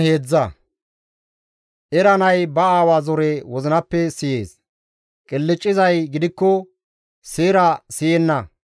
Era nay ba aawa zore wozinappe siyees; qilccizay gidikko seera siyenna.